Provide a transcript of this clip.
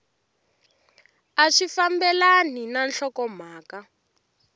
a swi fambelani na nhlokomhaka